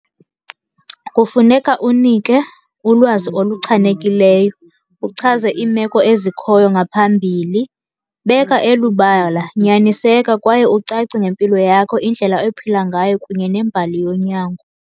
Kufuneka unike ulwazi oluchanekileyo, uchaze iimeko ezikhoyo ngaphambili. Beka elubala, nyaniseka kwaye ucace ngempilo yakho, indlela ophila ngayo kunye nembali yonyango.